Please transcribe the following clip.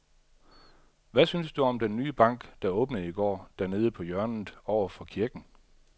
Hvad synes du om den nye bank, der åbnede i går dernede på hjørnet over for kirken?